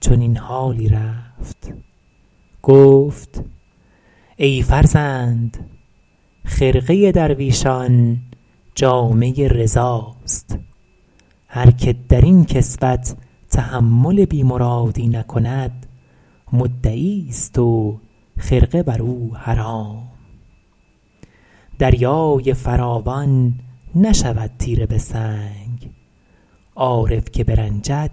چنین حالی رفت گفت ای فرزند خرقه درویشان جامه رضاست هر که در این کسوت تحمل بی مرادی نکند مدعی است و خرقه بر او حرام دریای فراوان نشود تیره به سنگ عارف که برنجد